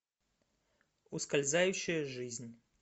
ускользающая жизнь